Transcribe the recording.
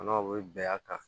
N'aw bɛ bɛn a kan